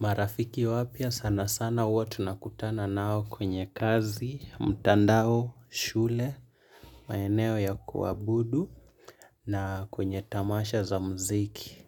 Marafiki wapya sana sana huwa tunakutana nao kwenye kazi, mtandao, shule, maeneo ya kuabudu na kwenye tamasha za mziki.